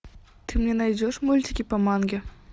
ты мне найдешь мультики по манге